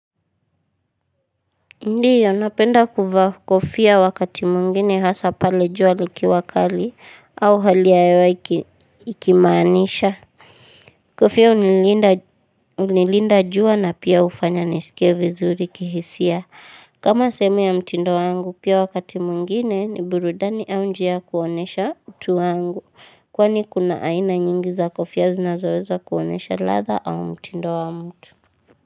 Ndiyo napenda kuvaa kofia wakati mwingine hasa pale jua likiwa kali au hali ya hewa ikimaanisha. Kofia hunilinda jua na pia hufanya nisikie vizuri kihisia. Kama sehemu ya mtindo wangu pia wakati mwingine ni burudani au njia kuonesha mtu wangu. Kwani kuna aina nyingi za kofia zinazoweza kuonesha ladha au mtindo wa mtu.